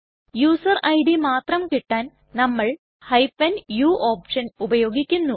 user ID മാത്രം കിട്ടാൻ നമ്മൾ u ഓപ്ഷൻ ഉപയോഗിക്കുന്നു